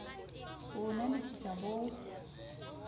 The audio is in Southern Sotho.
ho o nahanisisa ho o